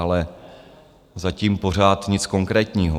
Ale zatím pořád nic konkrétního.